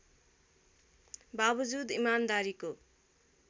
बाबजुद इमान्दारीको